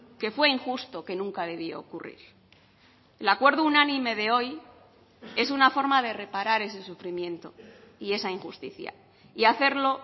que fue injusto que nunca debió ocurrir el acuerdo unánime de hoy es una forma de reparar ese sufrimiento y esa injusticia y hacerlo